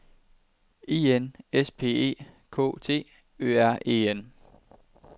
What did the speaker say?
I N S P E K T Ø R E N